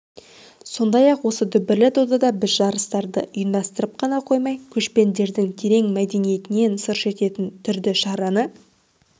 сондай-ақ осы дүбірлі додада біз жарыстарды ұйымдастырып қана қоймай көшпенділердің терең мәдениетінен сыр шерттетін түрді шараны